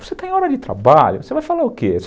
Você está em hora de trabalho, você vai falar o quê?